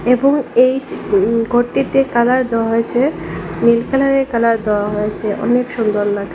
এবং এই উম ঘরটিতে কালার দেওয়া হয়েছে নীল কালারের কালার দেওয়া হয়েছে অনেক সুন্দর লাগ--